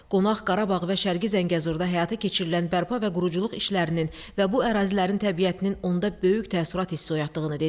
Qonaq Qarabağ və Şərqi Zəngəzurda həyata keçirilən bərpa və quruculuq işlərinin və bu ərazilərin təbiətinin onda böyük təəssürat hissi oyatdığını dedi.